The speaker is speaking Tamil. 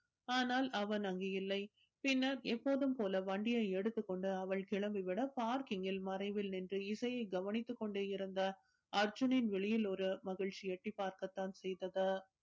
ஆனால் அவன் அங்கு இல்லை பின்னர் எப்போதும் போல வண்டியை எடுத்துக் கொண்டு அவள் கிளம்பி விட parking இல் மறைவில் நின்று இசையை கவனித்துக் கொண்டே இருந்த அர்ஜுனின் விழியில் ஒரு மகிழ்ச்சி எட்டிப் பார்க்க தான் செய்தது